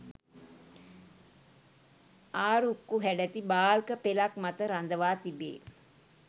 ආරුක්කු හැඩැති බාල්ක පෙළක් මත රඳවා තිබේ.